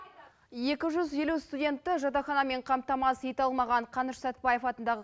екі жүз елу студентті жатақханамен қамтамасыз ете алмаған қаныш сәтпаев атындағы